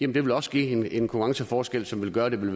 det ville også give en konkurrenceforskel som ville gøre det